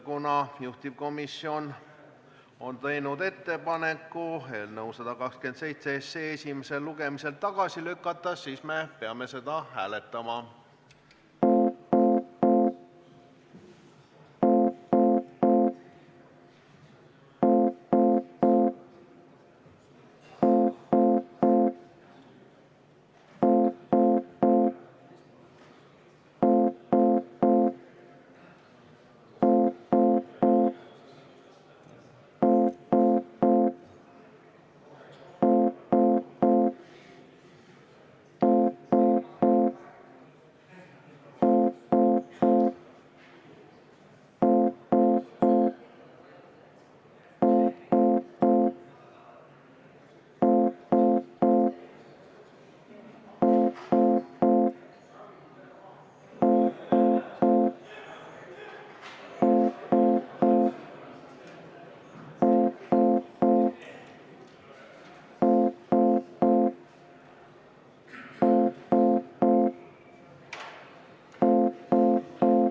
Kuna juhtivkomisjon on teinud ettepaneku eelnõu 127 esimesel lugemisel tagasi lükata, siis me peame seda hääletama.